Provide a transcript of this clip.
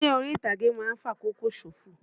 Eré orí-ìtàgé ma ń fàkókò ṣòfò.